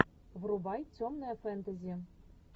врубай темное фэнтези